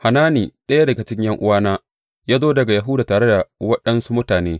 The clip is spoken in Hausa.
Hanani, ɗaya daga cikin ’yan’uwana, ya zo daga Yahuda tare da waɗansu mutane.